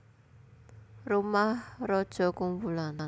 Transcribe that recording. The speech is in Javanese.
Rumah Raja kumpulan